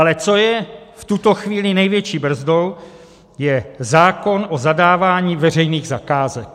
Ale co je v tuto chvíli největší brzdou, je zákon o zadávání veřejných zakázek.